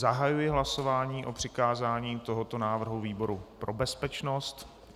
Zahajuji hlasování o přikázání tohoto návrhu výboru pro bezpečnost.